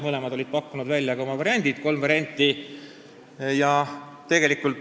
Mõlemad olid pakkunud välja oma variandid, kolm varianti.